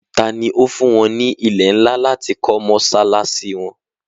ta ni ó fún wọn ní ilẹ̀ ńlá láti kọ́ mọ́sálásí wọn?